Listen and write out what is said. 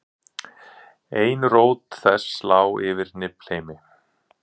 ein rót þess lá yfir niflheimi